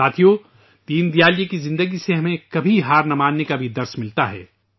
دوستو ، دین دیال جی کی زندگی سے ہمیں کبھی ہار نہیں ماننے کا سبق بھی ملتا ہے